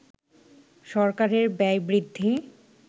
সরকারের ব্যয় বৃদ্ধি